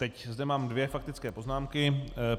Teď zde mám dvě faktické poznámky.